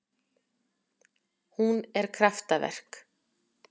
Hún er kraftaverk